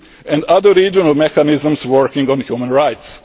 with the Council of Europe, the OSCE and other regional